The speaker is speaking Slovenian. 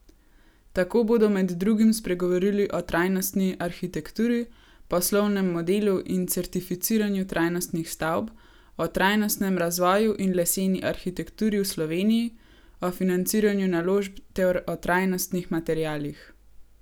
Tako bodo med drugim spregovorili o trajnostni arhitekturi, poslovnem modelu in certificiranju trajnostnih stavb, o trajnostnem razvoju in leseni arhitekturi v Sloveniji, o financiranju naložb ter o trajnostnih materialih.